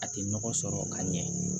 A tɛ nɔgɔ sɔrɔ ka ɲɛ